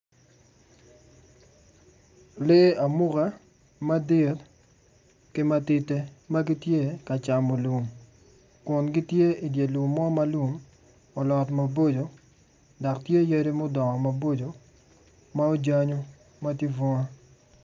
Lee amuka madit ki matidi magitye ka camo lum kun gitue i dye lum mo ma lum olot maboco dok tye yadi mudongo maboco ma aojanyo matye bunga.